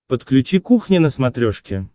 подключи кухня на смотрешке